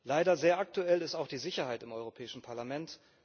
Leider sehr aktuell ist auch die Sicherheit im Europäischen Parlament.